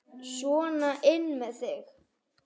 Sona inn með þig!